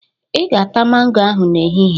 "Ị ga-ata mango ahụ n'ehihie"